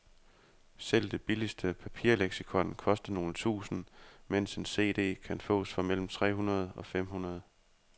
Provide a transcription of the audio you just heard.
Selv det billigste papirleksikon koster nogle tusinde, mens en cd kan fås for mellem tre hundrede og fem hundrede.